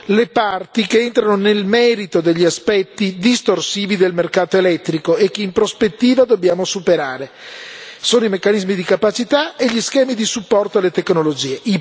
le parti che entrano nel merito degli aspetti distorsivi del mercato elettrico e che in prospettiva dobbiamo superare sono i meccanismi di capacità e gli schemi di supporto alle tecnologie.